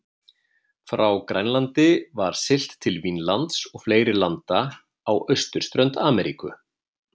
Frá Grænlandi var siglt til Vínlands og fleiri landa á austurströnd Ameríku.